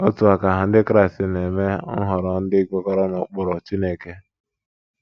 N’otu aka ahụ, Ndị Kraịst na - eme nhọrọ ndị kwekọrọ n’ụkpụrụ Chineke.